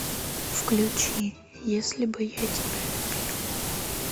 включи если бы я тебя любил